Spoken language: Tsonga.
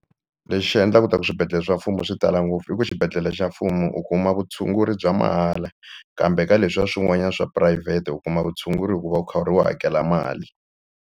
Lexi endlaka leswaku swibedhlele swa mfumo swi tala ngopfu i ku xibedhlele xa mfumo u kuma vutshunguri bya mahala kambe ka leswiya swin'wanyana swa phurayivhete u kuma vutshunguri hi ku va u kha u hakela mali.